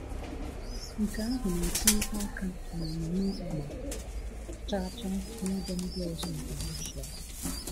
Nke ahụ na-etinyekwa aka na omume ịgba chaa chaa n’ebe ndị ọzọ nke Russia.